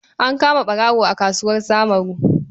An kama ɓarawo a kasuwar Samuru.